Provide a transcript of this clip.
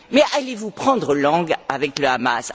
Mais allez vous prendre langue avec le Hamas?